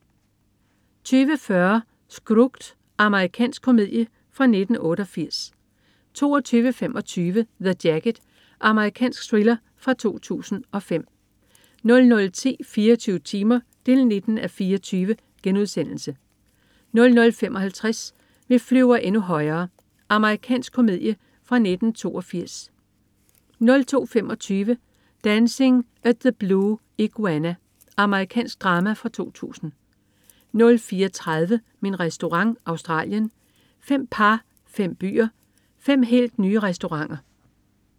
20.40 Scrooged. Amerikansk komedie fra 1988 22.25 The Jacket. Amerikansk thriller fra 2005 00.10 24 timer 19:24* 00.55 Vi flyver endnu højere. Amerikansk komedie fra 1982 02.25 Dancing at the Blue Iguana. Amerikansk drama fra 2000 04.30 Min Restaurant. Australien. Fem par, fem byer, fem helt nye restauranter